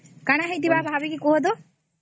କଣ ହେଇଥିବା ଭଵିକେ କୁହ ତ